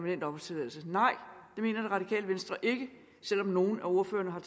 i en automat nej det mener det radikale venstre ikke selv om nogle af ordførerne har